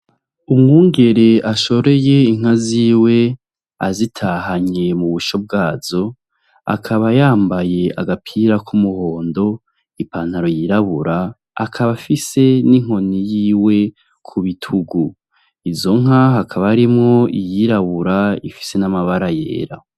Umwungere ashoreye inka ziwe azitahanye mu busho bwazo akaba yambaye agapira ku muhondo, ipantaro y'irabura akaba afise n'inkoni yiwe ku bitugu izonka hakaba harimwo iyirabura ifise n'abara yera.